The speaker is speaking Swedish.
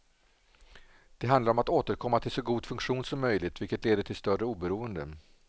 Det handlar om att återkomma till så god funktion som möjligt, vilket leder till större oberoende.